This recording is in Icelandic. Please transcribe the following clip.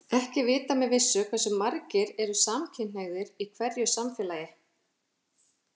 Ekki er vitað með vissu hversu margir eru samkynhneigðir í hverju samfélagi.